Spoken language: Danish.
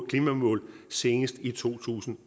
klimamål senest i to tusind